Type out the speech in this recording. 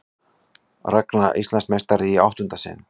Ragna Íslandsmeistari í áttunda sinn